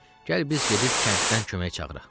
Gəl biz gedib kənddən kömək çağıraq.